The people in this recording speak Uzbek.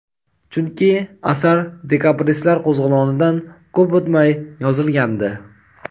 chunki asar dekabristlar qo‘zg‘olonidan ko‘p o‘tmay yozilgandi.